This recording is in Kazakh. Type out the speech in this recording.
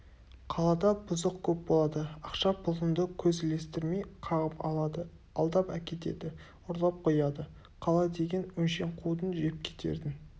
қалада бұзық көп болады ақша-пұлыңды көз ілестірмей қағып алады алдап әкетеді ұрлап қояды қала деген өңшең қудың жепкетердің